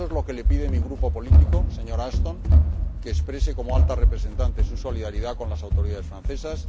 Eso es lo que le pide mi Grupo político, señora Ashton que exprese, como Alta Representante, su solidaridad con las autoridades francesas.